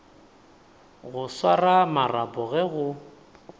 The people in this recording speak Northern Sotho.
go swara marapo ge go